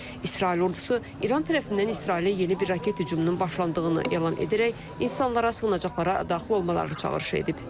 İsrail ordusu İran tərəfindən İsrailə yeni bir raket hücumunun başlandığını elan edərək insanlara sığınacaqlara daxil olmaları çağırış edib.